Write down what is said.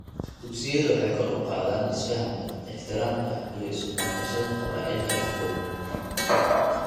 Dugsiyadu waxay kor u qaadaan isfahamka, ixtiraamka, iyo isu damqashada qabaa'ilka dhexdooda.